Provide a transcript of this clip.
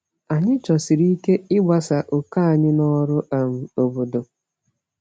Anyị chọsiri ike ịgbasa òkè anyị n’ọrụ um obodo.